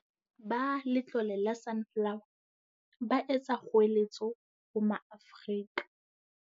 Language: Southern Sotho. Ba Letlole la Sunflower, ba etsa kgoeletso ho Maafrika.